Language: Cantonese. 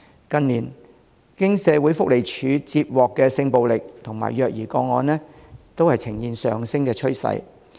近年社會福利署接獲的性暴力和虐兒個案，均呈現上升趨勢。